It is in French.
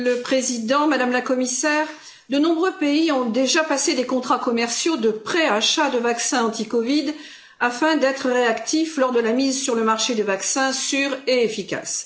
Monsieur le Président, Madame la Commissaire, de nombreux pays ont déjà passé des contrats commerciaux de pré achat de vaccins anti COVID, afin d'être réactifs lors de la mise sur le marché de vaccins sûrs et efficaces.